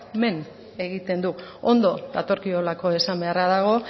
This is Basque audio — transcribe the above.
men egiten du ondo datorkiolako esan beharra dago